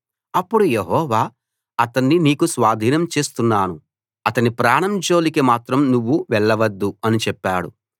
అప్పుడు యెహోవా అతణ్ణి నీకు స్వాధీనం చేస్తున్నాను అతని ప్రాణం జోలికి మాత్రం నువ్వు వెళ్ళవద్దు అని చెప్పాడు